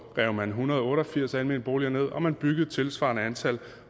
rev man en hundrede og otte og firs almene boliger ned og man byggede et tilsvarende antal